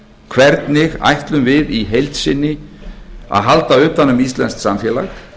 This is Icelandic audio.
hvernig ætlum við í heild sinni að halda utan um íslenskt samfélag